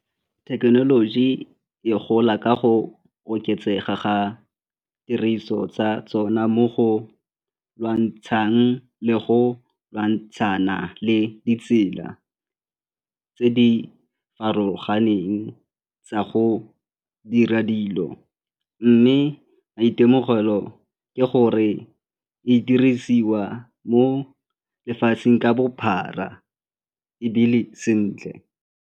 Thekenoloji e gola ka go oketsega ga tiriso tsa tsona mo go lwantshang le go lwantshana le ditsela tse di farologaneng tsa go dira dilo mme maitemogelo ke gore di dirisiwa mo lefatsheng ka bophara ebile sentle.